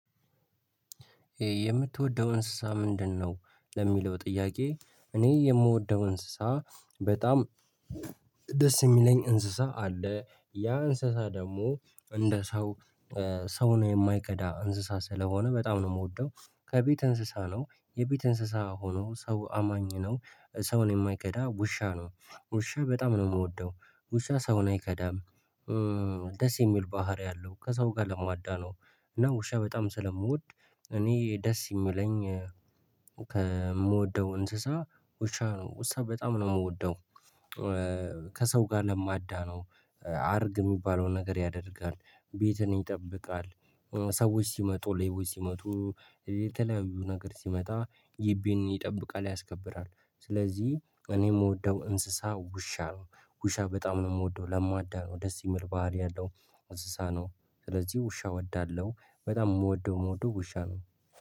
የምትወደው እንስሳ ምንድነው? ለሚለው ጥያቄ እኔ የምወደው እንስሳ በጣም ደስ የሚለኝ እንስሳ አለ ያ እንስሳ ደግሞ እንደ ሰው ሰው ነው የማይከዳ እንስሳ ስለሆነ በጣም ነው የምወደው። ከቤት እንስሳ ነው የቤት እንስሳ ሆኖ ሰው አማኝ ነው ሰውን የማይከዳ ውሻ ነው ውሻ በጣም ነው የምወደው ውሻ ሰውን አይከዳም። ደስ የሚል ባህሪ አለው ከሰው ጋር ለመዋዳ ነው። እና ውሻ በጣም ስለምወድ እኔ ደስ የሚለኝ ከምወደው እንስሳ ውሻ ነው ውሳ በጣም ነው የምወደው። ከሰው ጋር ለማዳነው አርግ የሚባለውን ነገር ያደርጋል ቤትን ይጠብቃል። ሰዎች ሲመጡ ሌቦች ሲመጡ የተለያዩ ነገር ሲመጣ ጊቢን ይጠብቃል ያስከብራል። ስለዚህ እኔ የምወደው እንስሳ ውሻ ነው። ውሻ በጣም ነው የምወደው ለማዳ ነው ደስ የሚል ባህሪ ያለው እንስሳ ነው። ስለዚህ ውሻ እወዳለሁ በጣም የምወደው ምወደው ውሻ ነው